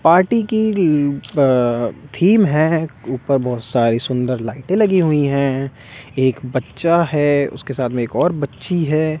Party की ल अ थीम है ऊपर बहोत सारी सुंदर लाइटें लगी हुई हैं एक बच्चा है उसके साथ में एक और बच्ची है।